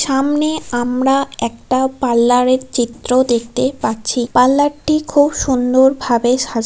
সামনে আমরা একটা পার্লার এর চিত্র দেখতে পাচ্ছি পার্লার টি খুব সুন্দর ভাবে সা--